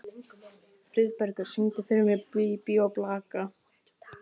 Friðbergur, syngdu fyrir mig „Bí bí og blaka“.